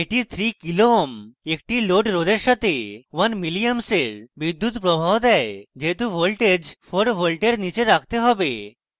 এটি 3 kω kilo ohms একটি load রোধের সাথে 1 ma one milli amps বিদ্যুৎপ্রবাহ দেয় যেহেতু voltage 4 voltage নীচে রাখতে হবে